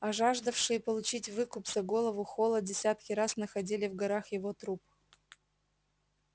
а жаждавшие получить выкуп за голову холла десятки раз находили в горах его труп